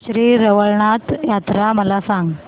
श्री रवळनाथ यात्रा मला सांग